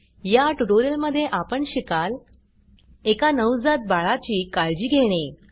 या ट्युटोरियलमध्ये आपण शिकाल एका नवजात बाळाची काळजी घेणे